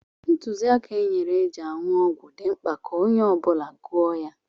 Ntụziaka e nyere eji aṅụ ọgwụ dị mkpa ka onye ọ bụla gụọ ya.